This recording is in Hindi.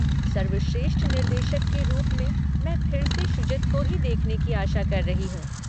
सर्वश्रेष्ठ निर्देशक के रूप में मैं फिर से शुजित को ही देखने की आशा कर रही हूँ।